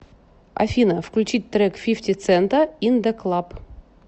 афина включить трек фифти цента ин да клаб